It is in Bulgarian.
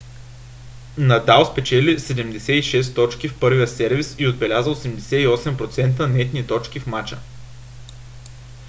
надал спечели 76 точки в първия сервис и отбеляза 88% нетни точки в мача